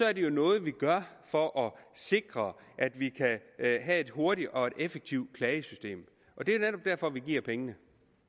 er jo noget vi gør for at sikre at vi kan have et hurtigt og effektivt klagesystem det er netop derfor vi giver pengene